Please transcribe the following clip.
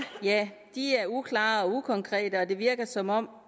er uklare og ukonkrete og det virker som om